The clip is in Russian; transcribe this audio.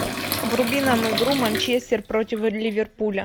вруби нам игру манчестер против ливерпуля